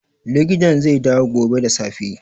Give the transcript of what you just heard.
Likitan zai dawo gobe da safe